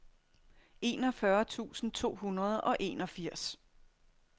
enogfyrre tusind to hundrede og enogfirs